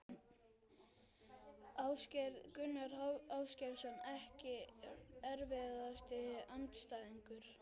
Ásgeir Gunnar Ásgeirsson EKKI erfiðasti andstæðingur?